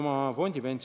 " Ma palun pikendust!